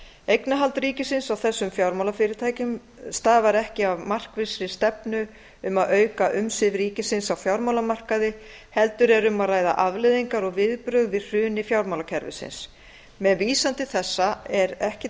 eignarhald ríkisins á þessum fjármálafyrirtækjum stafar ekki af markvissri stefnu um að auka umsvif ríkisins á fjármálamarkaði heldur er um að ræða afleiðingar og viðbrögð við hruni fjármálakerfisins með vísan til þessa eru ekki